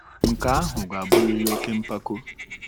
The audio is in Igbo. Nke ahụ ga-abụrịrị oke mpako.